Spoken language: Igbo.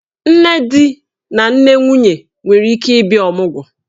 Nne di na nne nwunye nwere ike ịbịa ọmụgwọ.